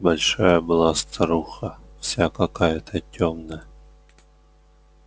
большая была старуха вся какая-то тёмная